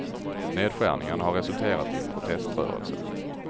Nedskärningarna har resulterat i en proteströrelse.